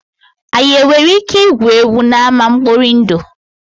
Anyị nwere ike igwu egwu n'ama nkpọri ndụ?